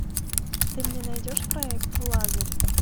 ты мне найдешь проект лазарь